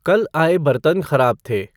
कल आए बर्तन ख़राब थे।